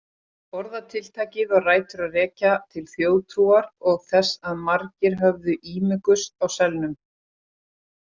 Orðatiltækið á rætur að rekja til þjóðtrúar og þess að margir höfðu ímugust á selnum.